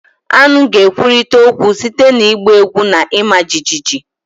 Aṅu ga-ekwurịta okwu site na ịgba egwu na ịma jijiji